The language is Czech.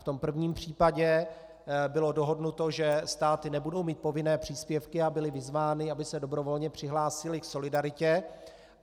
V tom prvním případě bylo dohodnuto, že státy nebudou mít povinné příspěvky, a byly vyzvány, aby se dobrovolně přihlásily k solidaritě.